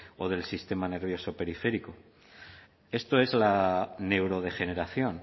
o del sistema nervioso periférico esto es la neurodegeneración